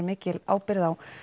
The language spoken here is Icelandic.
mikil ábyrgð á